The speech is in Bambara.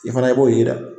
I fana i b'o ye dɛ